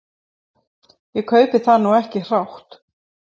Ég kaupi það nú ekki hrátt.